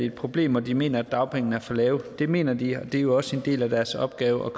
et problem og de mener at dagpengene er for lave det mener de og det er jo også en del af deres opgave